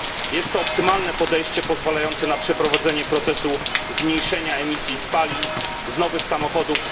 Jest to optymalne podejście pozwalające na racjonalne przeprowadzenie procesu zmniejszenia emisji spalin z nowych samochodów.